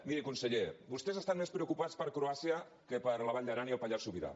miri conseller vostès estan més preocupats per croàcia que per la vall d’aran i el pallars sobirà